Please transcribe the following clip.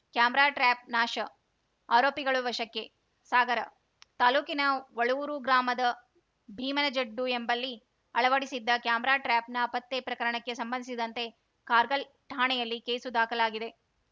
camera trap ನಾಶ ಆರೋಪಿಗಳು ವಶಕ್ಕೆ ಸಾಗರ ತಾಲೂಕಿನ ವಳೂರು ಗ್ರಾಮದ ಭೀಮನಜಡ್ಡು ಎಂಬಲ್ಲಿ ಅಳವಡಿಸಿದ್ದ ಕ್ಯಾಮೆರಾ ಟ್ರ್ಯಾಪ್‌ ನಾಪತ್ತೆ ಪ್ರಕರಣಕ್ಕೆ ಸಂಬಂಧಸಿದಂತೆ ಕಾರ್ಗಲ್‌ ಠಾಣೆಯಲ್ಲಿ ಕೇಸು ದಾಖಲಾಗಿದೆ